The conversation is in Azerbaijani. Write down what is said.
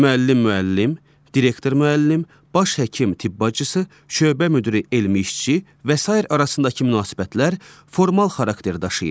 Müəllim-müəllim, direktor-müəllim, baş həkim-tibbaçısı, şöbə müdiri-elmi işçi və sair arasındakı münasibətlər formal xarakter daşıyır.